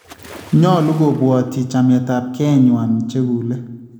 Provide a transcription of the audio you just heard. Nyolu kobwatyi chameetapkeenywaan chekuule